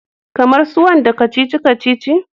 Kamar su wanda kacici-kacici?